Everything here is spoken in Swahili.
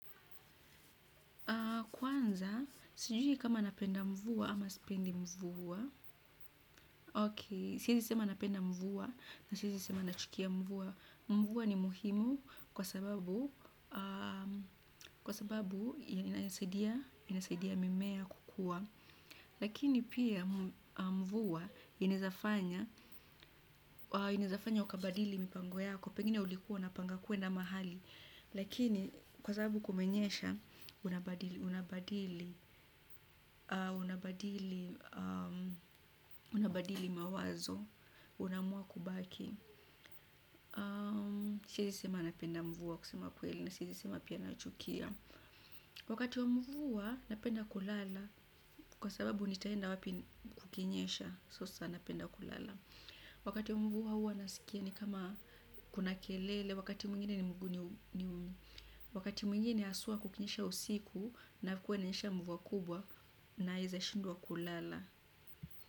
Kwanza, sijui kama napenda mvua ama sipendi mvua. Sawa, siwezi sema napenda mvua na siwezi sema nachukia mvua. Mvua ni muhimu kwa sababu inasaidia mimea kukua. Lakini pia mvua inaezafanya. Inaeza fanya ukabadili mipango yako. Pengine ulikuwa unapanga kuenda mahali. Lakini kwa sababu kumenyesha, unabadili. Unabadili mawazo. Unaamua kubaki. Siezi sema napenda mvua kusema kweli na siezi sema pia nachukia. Wakati wa mvua napenda kulala. Kwa sababu nitaenda wapi kukinyesha. Sasa napenda kulala. Wakati wa mvua hua nasikia ni kama kuna kelele, wakati mwingine ni, wakati mwingine haswa kukinyesha usiku. Na kuwe inanyesha mvua kubwa, naeza shindwa kulala.